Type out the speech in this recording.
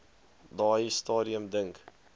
daai stadium dink